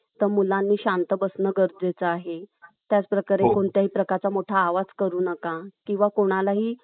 एखाद्या भागामध्ये. आता, एखादा, महाराष्ट्राचा एखादा भाग आहे. समजून घ्या पुणे. तर पुणे भागामध्ये लष्करी कायदा लागू आहे. कोणता कायदा लागू आहे? लष्करी कायदा लागू आहे.